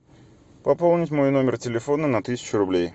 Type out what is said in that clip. пополнить мой номер телефона на тысячу рублей